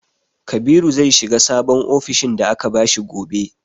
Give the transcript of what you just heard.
Kabiru zai shiga sabon ofishin da aka bashi gobe.